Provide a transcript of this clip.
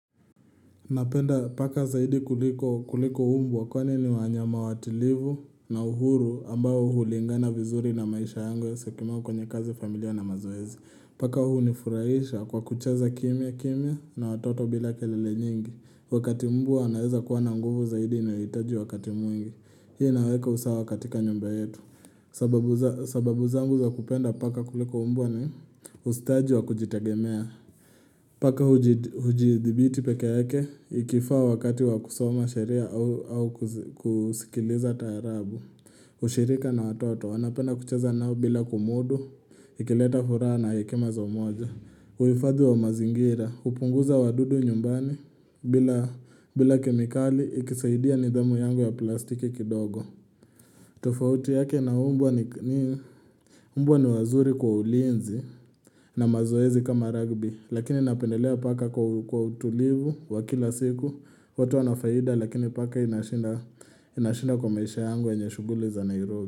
Napenda paka zaidi kuliko mbwa kwani ni wanyama watulivu na uhuru ambayo hulingana vizuri na maisha yangu hasa kama kwenye kazi familia na mazoezi. Paka hunifurahisha kwa kucheza kimya kimya na watoto bila kelele nyingi. Wakati mbwa anaweza kuwa na nguvu zaidi inayohitaji wakati mwingi. Hii inaweka usawa katika nyumba yetu. Sababu zangu za kupenda paka kuliko mbwa ni ustadi wa kujitegemea. Paka hujidhibiti peke yake, ikifaa wakati wa kusoma sheria au kusikiliza taarabu. Ushirika na watoto. Wanapenda kucheza nao bila kumudu, ikileta furaha na hekima za umoja. Uhifadhi wa mazingira, hupunguza wadudu nyumbani bila kemikali, ikisaidia nidhamu yangu ya plastiki kidogo. Tofauti yake na mbwa ni mbwa ni wazuri kwa ulinzi na mazoezi kama ragbi. Lakini napendelea paka kwa utulivu wa kila siku. Wote wana faida lakini paka inashinda kwa maisha yangu yenye shughuli za Nairobi.